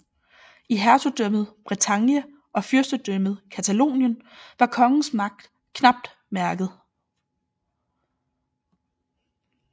I hertugdømmet Bretagne og Fyrstendømmet Catalonien var kongens magt knapt mærket